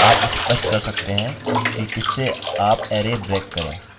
लेकिन यह किया जा सकता है कि आप स्पष्ट कर सकते हैं कि किससे आप अरै ब्रेक करें